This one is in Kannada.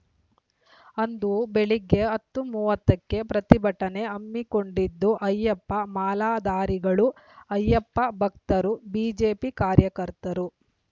ಅಂದು ಬೆಳಿಗ್ಗೆ ಹತ್ತು ಮೂವತ್ತಕ್ಕೆ ಪ್ರತಿಭಟನೆ ಹಮ್ಮಿಕೊಂಡಿದ್ದು ಅಯ್ಯಪ್ಪ ಮಾಲಾಧಾರಿಗಳು ಅಯ್ಯಪ್ಪ ಭಕ್ತರು ಬಿಜೆಪಿ ಕಾರ್ಯಕರ್ತರು